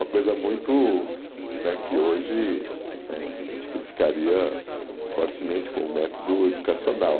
Uma coisa muito né que hoje né a gente criticaria fortemente como método educacional.